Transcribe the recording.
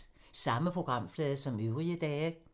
Samme programflade som øvrige dage